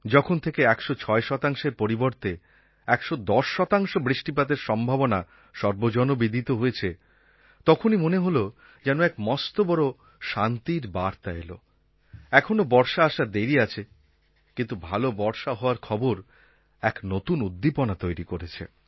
যখন থেকে ১০৬ শতাংশের পরিবর্তে ১১০ শতাংশ বৃষ্টিপাতের সম্ভাবনা সর্বজনবিদিত হয়েছে তখনই মনে হল যেন এক মস্ত বড় শান্তির বার্তা এল এখনও বর্ষা আসার দেরি আছে কিন্তু ভাল বর্ষা হওয়ার খবর এক নতুন উদ্দীপনা তৈরি করেছে